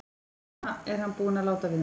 Svona er hann búinn að láta við mig.